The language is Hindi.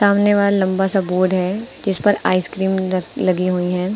सामने वाला लंबा सा बोर्ड है जिस पर आइसक्रीम ल लगी हुई हैं।